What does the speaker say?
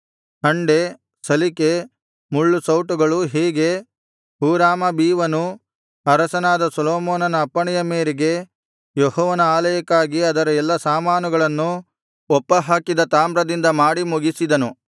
ಹಂಡೆ ಸಲಿಕೆ ಮುಳ್ಳುಸೌಟುಗಳು ಹೀಗೆ ಹೂರಾಮಾಬೀವನು ಅರಸನಾದ ಸೊಲೊಮೋನನ ಅಪ್ಪಣೆಯ ಮೇರೆಗೆ ಯೆಹೋವನ ಆಲಯಕ್ಕಾಗಿ ಅದರ ಎಲ್ಲಾ ಸಾಮಾನುಗಳನ್ನು ಒಪ್ಪ ಹಾಕಿದ ತಾಮ್ರದಿಂದ ಮಾಡಿ ಮುಗಿಸಿದನು